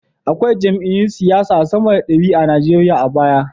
Akwai jam’iyyun siyasa sama da dari a Nigeriya baya.